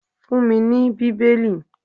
Fun mí ní Bíbélì.